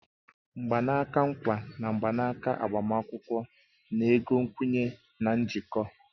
Mgbanaka nkwa na mgbanaka agbamakwụkwọ na-ego nkwenye na njikọ